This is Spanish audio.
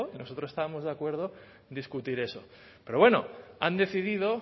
nosotros estábamos de acuerdo en discutir eso pero bueno han decidido